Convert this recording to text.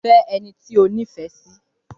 Fẹ́ ẹni tí o nífẹ̀ẹ́ sí!